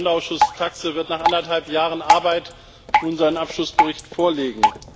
Der Sonderausschuss TAXE wird nach anderthalb Jahren Arbeit nun seinen Abschlussbericht vorlegen.